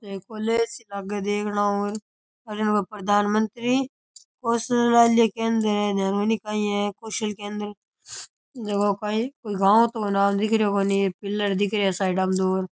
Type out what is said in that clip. एक कॉलेज सी लागे देखनाउ अठीने बा प्रधान मंत्री कोषालय केंद्र है ध्यान कोनी काई है कौशल केंद्र जको काई कोई गांव तो नाम दिख रियो कोनी पिलर दिख रेया साइडा में दो।